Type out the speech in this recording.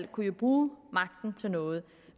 kunne bruge magten til noget